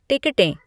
टिकटें